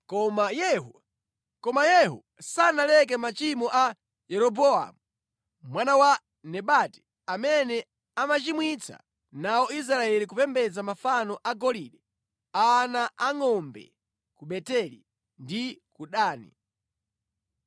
Koma Yehuyo sanaleke machimo a Yeroboamu mwana wa Nebati amene anachimwitsa nawo Israeli kupembedza mafano a golide a ana angʼombe ku Beteli ndi ku Dani.